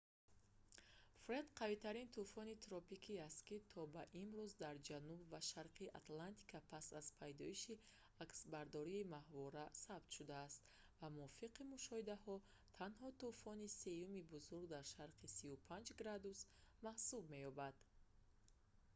фред қавитарин тӯфони тропикӣ аст ки то ба имрӯз дар ҷануб ва шарқи атлантика пас аз пайдоиши аксбардории моҳвора сабт шудааст ва мувофиқи мушоҳидаҳо танҳо тӯфони сеюми бузург дар шарқи 35 ° w маҳсуб меёбад